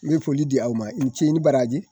N bɛ foli di aw ma i ce ni baraji